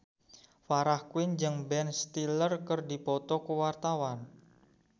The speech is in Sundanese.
Farah Quinn jeung Ben Stiller keur dipoto ku wartawan